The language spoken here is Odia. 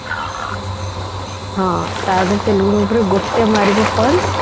ହଁ ତା ଯଦି ତେଲୁଗୁ movie ରେ ଗୋଟେ ମାରିବୁ punch